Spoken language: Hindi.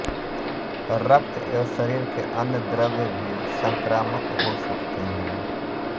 रक्त एवं शरीर के अन्य द्रव्य भी संक्रामक हो सकते हैं